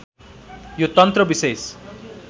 यो तन्त्र विशेष